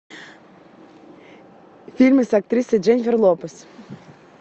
фильмы с актрисой дженнифер лопес